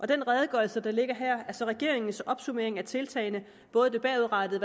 den redegørelse der ligger her er så regeringens opsummering af tiltagene både det bagudrettede